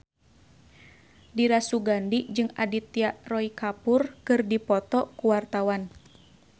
Dira Sugandi jeung Aditya Roy Kapoor keur dipoto ku wartawan